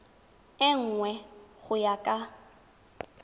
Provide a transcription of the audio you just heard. e nngwe go ya ka